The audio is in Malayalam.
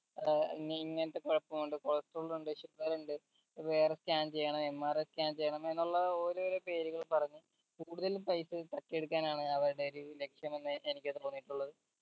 ഏർ ഇങ് ഇങ്ങത്തെ കൊഴപ്പമുണ്ട് cholestrol ഉണ്ട് sugar ഉണ്ട് വേറെ scan ചെയ്യണം MRAscan എന്നുള്ള ഓരോരോ പേരുകൾ പറഞ് കൂടുതൽ പൈസ തട്ടിയെടുക്കാനാണ് അവരിടെ ഒരു ലക്ഷ്യം എന്ന് എനിക്ക് തോന്നിയിട്ടുള്ളത്